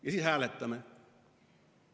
Ja siis hääletame.